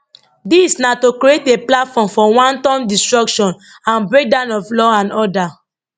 dis na to create a platform for wanton destruction and breakdown of law and order